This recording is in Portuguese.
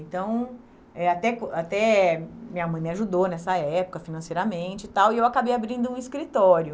Então, eh até que até minha mãe me ajudou nessa época financeiramente e tal, e eu acabei abrindo um escritório.